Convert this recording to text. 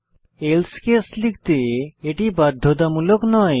else case লিখতে এটি বাধ্যতামূলক নয়